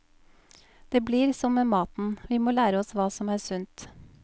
Det blir som med maten, vi må lære oss hva som er sunt.